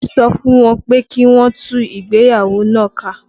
Mo sọ fún wọn pé kí wọn ó tú ìgbéyàwó náà ká